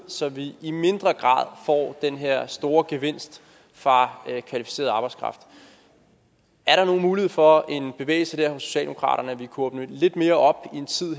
så vi i mindre grad får den her store gevinst fra kvalificeret arbejdskraft er der nogen mulighed for en bevægelse hos socialdemokratiet kunne åbne lidt mere op i en tid